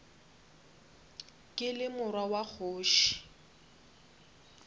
ke le morwa wa kgoši